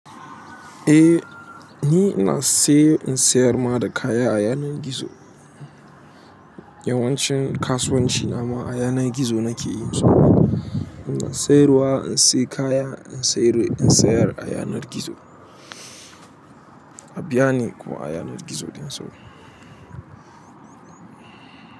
Eh, ni ina saye in sayar ma da kaya a yanar gizo. Yawancin kasuwanci na ma a yanar gizo nake yin su. Ina sayarwa, in sayi kaya, in sayar a yanar gizo. Abia ni kuma a yanar gizo ɗin so.